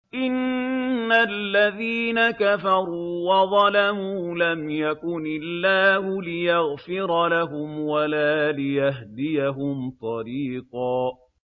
إِنَّ الَّذِينَ كَفَرُوا وَظَلَمُوا لَمْ يَكُنِ اللَّهُ لِيَغْفِرَ لَهُمْ وَلَا لِيَهْدِيَهُمْ طَرِيقًا